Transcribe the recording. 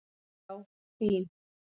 Já, LÍN.